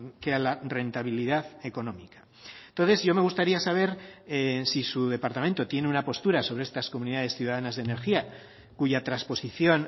que a la rentabilidad económica entonces yo me gustaría saber si su departamento tiene una postura sobre estas comunidades ciudadanas de energía cuya transposición